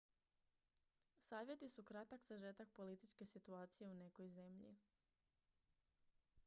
savjeti su kratak sažetak političke situacije u nekoj zemlji